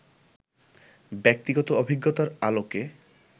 ব্যক্তিগত অভিজ্ঞতার আলোকে